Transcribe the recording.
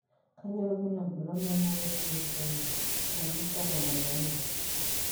Kainyio irbulabul onaapuku etrisomy oomusa tomon oong'uan?